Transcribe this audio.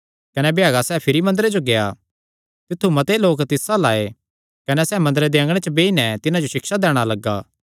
कने भ्यागा सैह़ भिरी मंदरे जो गेआ तित्थु मते लोक तिस अल्ल आये कने सैह़ मंदरे दे अँगणे च बेई नैं तिन्हां जो सिक्षा दैणा लग्गा